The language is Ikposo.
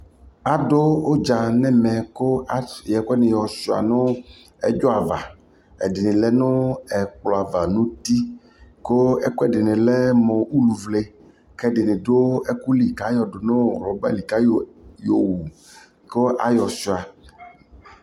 adʋ ʋdza nʋ ɛmɛ kʋ ayɔ ɛkʋ ɛdini yɔsʋa nʋ ɛdzɔ ava, ɛdini lɛnʋ ɛkplɔ aɣa nʋ ʋti kʋ ɛkuɛdini lɛmʋ ʋlʋvlɛ kʋ ɛdini dʋ ɔkʋli kʋ ayɔ dʋnɔ rubber li kʋ ayɔ wʋ kʋ ayɔ sʋa